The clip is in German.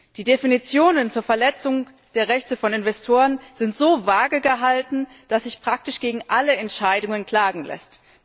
Die Definitionen zur Verletzung der Rechte von Investoren sind so vage gehalten, dass sich praktisch gegen alle Entscheidungen klagen lässt.